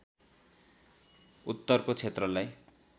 उत्तरको क्षेत्रलाई